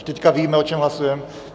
Když teď víme, o čem hlasujeme?